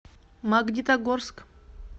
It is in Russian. магнитогорск